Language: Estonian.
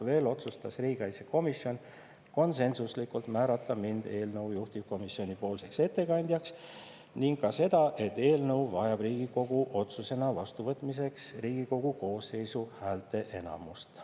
Veel otsustas riigikaitsekomisjon konsensuslikult, et mind määratakse eelnõu juhtivkomisjoni ettekandjaks, ning ka seda, et eelnõu vajab Riigikogu otsusena vastuvõtmiseks Riigikogu koosseisu häälteenamust.